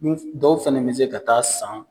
Dɔw fana bɛ se ka taa san